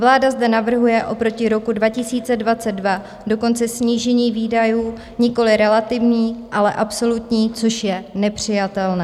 Vláda zde navrhuje oproti roku 2022 dokonce snížení výdajů, nikoliv relativní, ale absolutní, což je nepřijatelné.